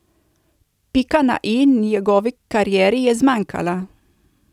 Pika na i njegovi karieri je zmanjkala.